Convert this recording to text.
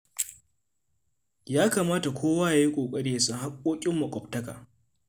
Ya kamata kowa ya yi ƙoƙari ya san haƙƙoƙin maƙwabtaka.